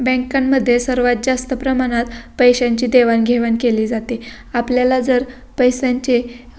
बॅंकां मध्ये सर्वात जास्त प्रमाणात पैशांची देवाणघेवाण केली जाते आपल्याला जर पैशांची--